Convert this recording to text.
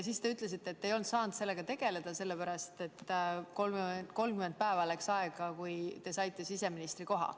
Siis te ütlesite, et te ei saanud sellega tegeleda, sest 30 päeva läks aega, kui te saite siseministri koha.